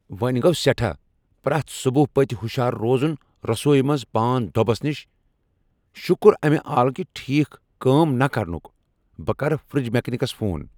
وۄں گو سیٹھاہ پریتھ صبح پتۍ ہُشار روزُن رسویہ منز پان دۄبس نش ، شُكر امہِ آلٕكہِ ٹھیكھ كٲم نہٕ كرنُك ! بہ کرٕ فرج میكنِكس فون ۔